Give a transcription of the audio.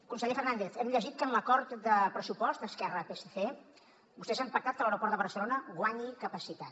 conseller fernàndez hem llegit que en l’acord de pressupost esquerra psc vostès han pactat que l’aeroport de barcelona guanyi capacitat